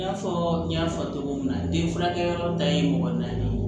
I n'a fɔ n y'a fɔ cogo min na den furakɛyɔrɔ ta ye mɔgɔ naani ye